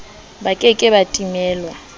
ba ke ke ba timelwa